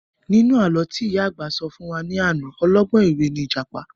Nínú àlọ́ tí ìyá àgbà sọ fún wa ní àná, ọlọ́gbọ́n ẹ̀wẹ́ ni ìjàpá